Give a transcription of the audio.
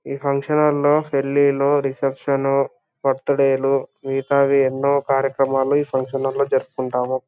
ఈ function hall లో పెళ్ళిలు రిసెప్షను బర్త్డే లు మిగతావి ఎన్నో కార్యక్రమాలు ఈ ఫంక్షన్ హాల్ లో జరుపుకుంటాము.